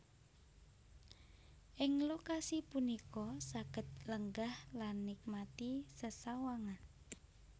Ing lokasi punika saged lenggah lan nikmati sesawangan